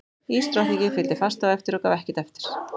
Ísdrottningi fylgdi fast á eftir og gaf ekkert eftir.